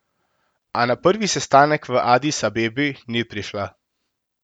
A na prvi sestanek v Adis Abebi ni prišla.